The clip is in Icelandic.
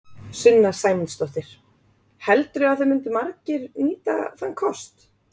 Sunna Sæmundsdóttir: Heldurðu að það myndu margir nýta þann kost?